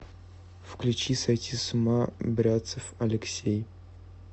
включи сойти с ума бряцев алексей